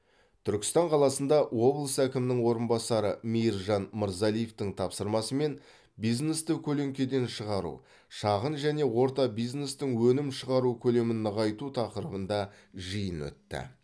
түркістан қаласында облыс әкімінің орынбасары мейіржан мырзалиевтің тапсырмасымен бизнесті көлеңкеден шығару шағын және орта бизнестің өнім шығару көлемін ұлғайту тақырыбында жиын өтті